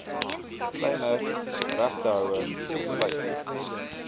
kleiner regtehouers besluit